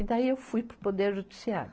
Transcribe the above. E daí eu fui para o Poder Judiciário.